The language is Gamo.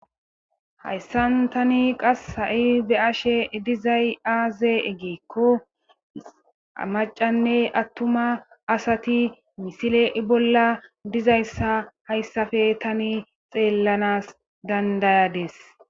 Hayssan tani qassi ta be'ashe dizay aaze gikko macanne attuma asati misile bolla diza assa hasappe tani xeellanas dandayadiis.